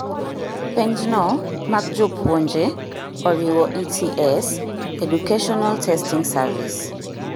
Penjno mag jopuonje oriwo ETS( Educational Testing Service )